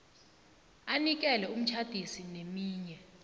anikele umtjhadisi neminye